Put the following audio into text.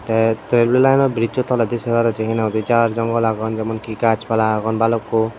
tey tremelaino brizzo toledi sei paror tumi hinang hoidey jaar jangal agon jemonki gaaj pala agon balukko.